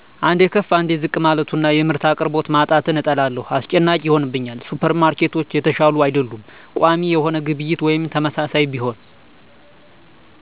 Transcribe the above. አንዴ ከፍ አንዴ ዝቅ ማለቱና የምርት አቅርቦት ማጣትን እጠላለሁ። አስጨናቂ ይሆንብኛል። ሱፐርማርኬቶች የተሻሉ አይደሉም። ቋሚ የሆነ ግብይት ወይም ተመሳሳይ ቢሆን